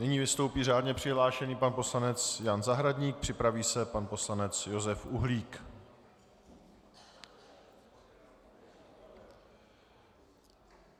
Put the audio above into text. Nyní vystoupí řádně přihlášený pan poslanec Jan Zahradník, připraví se pan poslanec Josef Uhlík.